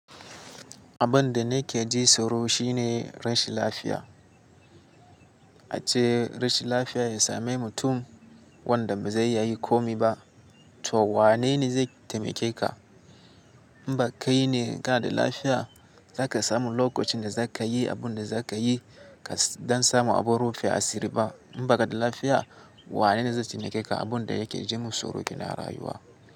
Abin da nake ji tsoro shine rashin lafiya. Ace rashin lafiya ya same mutum wanda ba zai iya yin komi ba, to wanene zai taimake ka? In ba kai ne ka da lafiya, za ka samu lokacin da za ka yi abin da za ka yi don samu abin rufe asiri ba. In ba ka da lafiya, wanene zai taimake ka? Abin da yake ji min tsoro kenan a rayuwa.